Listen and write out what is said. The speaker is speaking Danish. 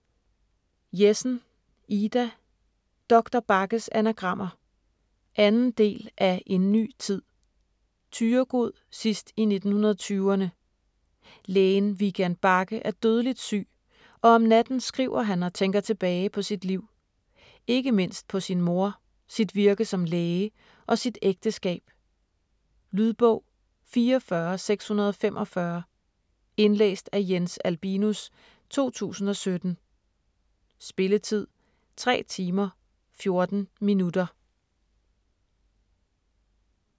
Jessen, Ida: Doktor Bagges anagrammer 2. del af En ny tid. Thyregod, sidst i 1920'erne. Lægen Vigand Bagge er dødeligt syg, og om natten skriver han og tænker tilbage på sit liv. Ikke mindst på sin mor, sit virke som læge og sit ægteskab. Lydbog 44645 Indlæst af Jens Albinus, 2017. Spilletid: 3 timer, 14 minutter.